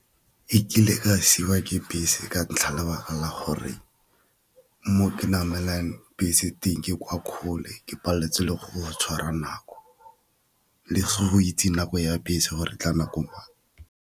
Ke kile ka siiwa ke bese ka ntlha lebaka la gore mo ke namelang bese teng ke kwa kgole, ke paleletswe le go tshwara nako le go itse nako ya bese gore e tla nako mang.